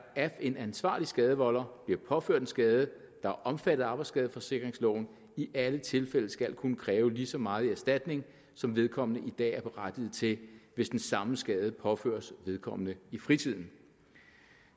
af en ansvarlig skadevolder bliver påført en skade der er omfattet af arbejdsskadeforsikringsloven i alle tilfælde skal kunne kræve lige så meget i erstatning som vedkommende i dag er berettiget til hvis den samme skade påføres vedkommende i fritiden